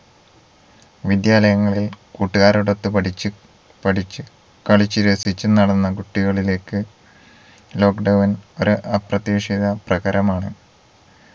വിദ്യാലയങ്ങളിൽ കൂട്ടുകാരോടൊത്ത് പഠിച്ച് പഠിച്ചു കളിച്ചു രസിച്ച് നടന്ന കുട്ടികളിലേക്ക് lockdown ഒരു അപ്രതീക്ഷിത പ്രഹരമാണ്